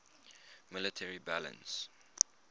iiss military balance